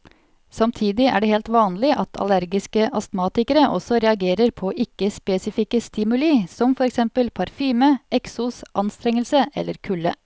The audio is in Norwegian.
Samtidig er det helt vanlig at allergiske astmatikere også reagerer på ikke spesifikke stimuli som for eksempel parfyme, eksos, anstrengelse eller kulde.